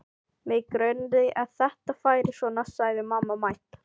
Mig grunaði að þetta færi svona sagði mamma mædd.